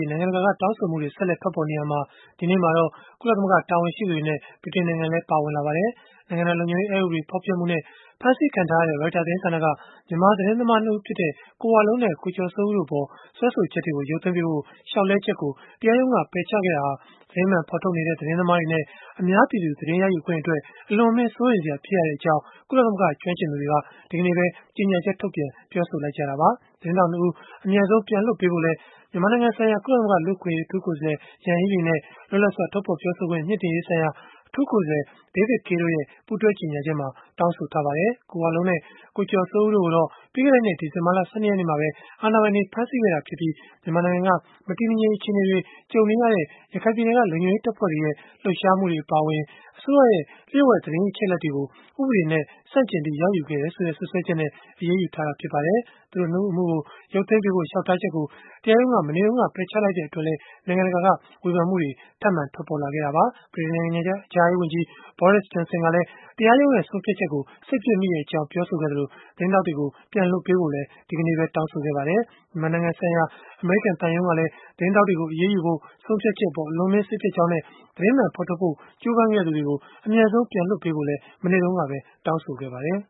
ေး နိုင်ငံတကာက တောင်းဆိုမှုတွေ ဆက်လက် ထွက်ပေါ်နေရာမှာ ဒီနေ့မှာတော့ ကုလသမဂ္ဂ တာဝန်ရှိသူတွေနဲ့ ဗြိတိန်နိုင်ငံလည်း ပါဝင်လာပါတယ်။ နိုင်ငံတော် လုံခြုံရေးအက်ဥပဒေ ဖောက်ဖျက်မှုနဲ့ ဖမ်းဆီးခံထားရတဲ့ Reuters သတင်းဌာနက မြန်မာသတင်းသမား ၂ ဦးဖြစ်တဲ့ ကိုဝလုံးနဲ့ ကိုကျော်စိုးဦး တို့အပေါ် စွဲဆိုချက်တွေကို ရုပ်သိမ်းပေးဖို့ လျှောက်လဲချက်ကို တရားရုံးက ပယ်ချခဲ့တာဟာ သတင်းမှန်ဖော်ထုတ်နေတဲ့ သတင်းသမားတွေနဲ့ အများပြည်သူ သတင်းရယူခွင့်အတွက် အလွန်အမင်း စိုးရိမ်စရာဖြစ်ရကြောင်း ကုလသမဂ္ဂကျွမ်းကျင်သူတွေက ဒီကနေ့ပဲ ကြေညာချက်ထုတ်ပြန် ပြောဆိုလိုက်ကြတာပါ။ သတင်းထောက် ၂ ဦးကို အမြန်ဆုံးပြန်လွှတ်ပေးဖို့လည်း မြန်မာနိုင်ငံဆိုင်ရာ ကုလသမဂ္ဂ လူ့အခွင့်အရေး အထူးကိုယ်စားလှယ် Yanghee Lee နဲ့ လွတ်လပ်စွာ ထုတ်ဖော်ပြောဆိုခွင့် မြှင့်တင်ရေးဆိုင်ရာ အထူးကိုယ်စားလှယ် David Kaye တို့ရဲ့ ပူးတွဲကြေညာချက်မှာ တောင်းဆိုထားပါတယ်။ ကိုဝလုံးနဲ့ ကိုကျော်စိုးဦး တို့ကိုတော့ ပြီးခဲ့တဲနှစ် ဒီဇင်ဘာ ၁၂ ရက်နေ့မှာပဲ အာဏာပိုင်တွေက ဖမ်းဆီးခဲ့တာဖြစ်ပြီး၊ မြန်မာနိုင်ငံက မတည်မငြိမ် အခြေအနေတွေ ကြုံနေရတဲ့ ရခိုင်ပြည်နယ်က လုံခြုံရေးတပ်ဖွဲ့တွေရဲ့ လှုပ်ရှားမှုတွေ အပါအဝင် အစိုးရရဲ့ လျို့ဝှက်သတင်းအချက်အလက်တွေကို ဥပဒေနဲ့ ဆန့်ကျင်ပြီး ရယူခဲ့တယ်ဆိုတဲ့ စွပ်စွဲချက်နဲ့ အရေးယူခဲ့တာ ဖြစ်ပါတယ်။ သူတို့ ၂ ဦးအမှုကို ရုပ်သိမ်းပေးဖို့ လျှောက်ထားချက်ကို တရားရုံးက မနေ့တုန်းက ပယ်ချလိုက်တဲ့အတွက်လည်း နိုင်ငံတကာက ဝေဖန်မှုတွေ ထပ်မံ ထွက်ပေါ်လာခဲ့တာပါ။ ဗြိတိန်နိုင်ငံခြားရေးဝန်ကြီး Boris Johnson ကလည်း တရားရုံးဆုံးဖြတ်ချက်ကြောင့် စိတ်ပျက်မိကြောင်း ပြောဆိုခဲ့သလို၊ သတင်းထောက်တွေကို ပြန်လွှတ်ပေးဖို့လည်း တောင်းဆိုခဲ့ပါတယ်။ မြန်မာနိုင်ငံဆိုင်ရာ အမေရိကန် သံရုံးကလည်း သတင်းထောက်တွေကို အရေးယူဖို့ ဆုံးဖြတ်ချက်အပေါ် အလွန်အမင်း စိတ်ပျက်ကြောင်းနဲ့ သတင်းမှန်ဖော်ထုတ်ဖို့ ကြိုးပမ်းခဲ့သူတွေကို အမြန်ဆုံး ပြန်လွှတ်ပေးဖို့လည်း မနေ့တုန်းကပဲ တောင်းဆိုခဲ့ပါတယ်